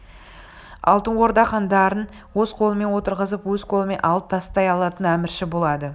алтын орда хандарын өз қолымен отырғызып өз қолымен алып тастай алатын әмірші болады